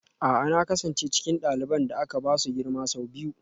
A'a na kasance cikin ɗaliban da aka ba su girma sau biyu